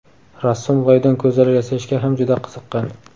Rassom loydan ko‘zalar yasashga ham juda qiziqqan.